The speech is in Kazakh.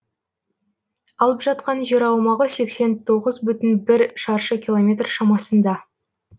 алып жатқан жер аумағы сексен тоғыз бүтін бір шаршы километр шамасында